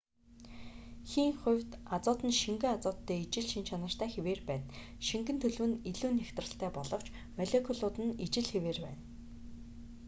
хийн хувьд азот нь шингэн азоттой ижил шинж чанартай хэвээр байна шингэн төлөв нь илүү нягтралтай боловч молекулууд нь ижил хэвээр байна